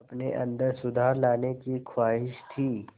अपने अंदर सुधार लाने की ख़्वाहिश थी